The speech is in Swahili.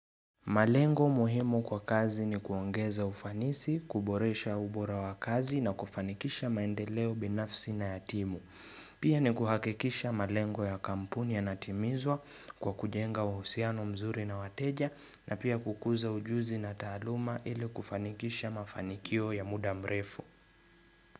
Malengo muhimu kwa kazi ni kuongeza ufanisi, kuboresha ubora wa kazi na kufanikisha maendeleo binafsi na ya timu. Pia ni kuhakikisha malengo ya kampuni yanatimizwa kwa kujenga uhusiano mzuri na wateja na pia kukuza ujuzi na taaluma ili kufanikisha mafanikio ya muda mrefu.